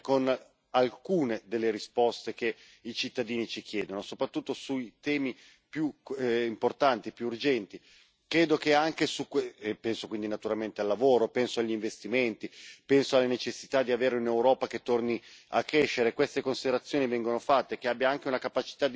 alcune delle risposte che i cittadini ci chiedono, soprattutto sui temi più importanti, più urgenti, e penso quindi naturalmente al lavoro, penso agli investimenti, penso alla necessità di avere un'Europa che torni a crescere e queste considerazioni vengono fatte che abbia anche una capacità di visione.